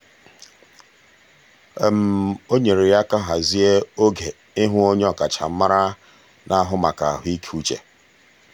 um o nyeere ya aka hazie oge ịhụ onye ọkachamara na-ahụ maka ahụikeuche.